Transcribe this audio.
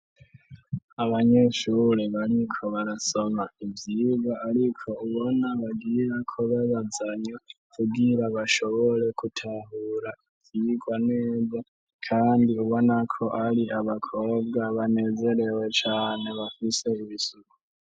Abanyeshure bariko barasoma ivyira, ariko ubona bagira kubabazanya kugira bashobore kutahura ivyirwa neza, kandi ubonako ari abakobwa banezerewe cane bafise ibisuku.